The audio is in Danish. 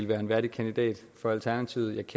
være en værdig kandidat for alternativet